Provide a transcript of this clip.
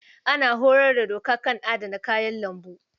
An horar da Audu kan adana kayan lambu.